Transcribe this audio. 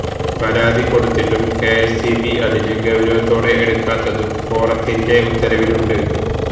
പരാതി കൊടുത്തിട്ടും K S E B അതിനെ ഗൌരവത്തോടെ എടുക്കാത്തതും ഫോറത്തിന്റെ ഉത്തരവിലുണ്ട്